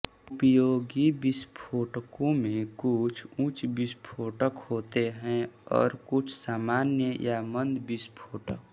उपयोगी विस्फोटकों में कुछ उच्च विस्फोटक होते हैं और कुछ सामान्य या मंद विस्फोटक